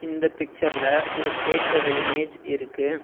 இந்த பிச்சர்ல ஒரு கேக் ஓட இமேஜ் இருக்கு.